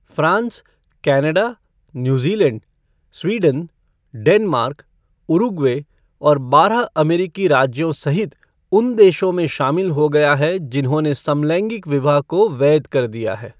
France, Canada, New Zealand, Sweden, Denmark और Uruguay और बारह अमेरिकी राज्यों सहित उन देशों में शामिल हो गया है जिन्होंने समलैंगिक विवाह को वैध कर दिया है।